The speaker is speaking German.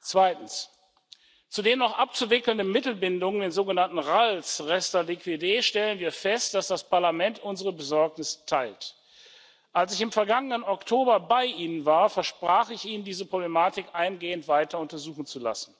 Zweitens Zu den noch abzuwickelnden Mittelbindungen den sogenannten RALs, reste liquider, stellen wir fest, dass das Parlament unsere Besorgnis teilt Als ich im vergangenen Oktober bei Ihnen war, versprach ich Ihnen, diese Problematik eingehend weiter untersuchen zu lassen.